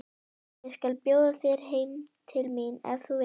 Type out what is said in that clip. Ég skal bjóða þér heim til mín ef þú vilt!